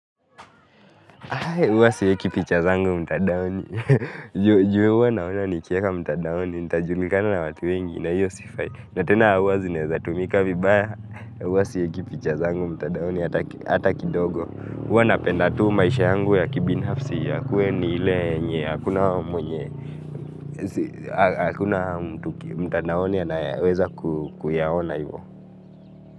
Huwa sieki picha zangu mtadaoni, juu huwa naona nikieka mtadaoni ntajulikana na watu wengi na hio sifai, na tena huwa zinaeza tumika vibaya, huwa sieki picha zangu mtandaoni hata kidogo, huwa napenda tu maisha yangu ya kibinafsi yakuwe ni ile yenye, hakuna mwenye, hakuna mtandaoni anaweza kuyaona hivo.